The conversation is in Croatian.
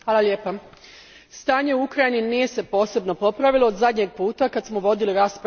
Stanje u Ukrajini nije se posebno popravilo od zadnjeg puta kad smo vodili raspravu na ovu temu.